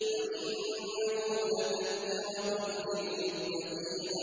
وَإِنَّهُ لَتَذْكِرَةٌ لِّلْمُتَّقِينَ